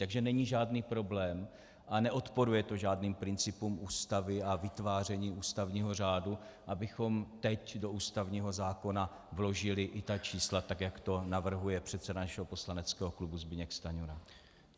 Takže není žádný problém a neodporuje to žádným principům Ústavy a vytváření ústavního řádu, abychom teď do ústavního zákona vložili i ta čísla, tak jak to navrhuje předseda našeho poslaneckého klubu Zbyněk Stanjura.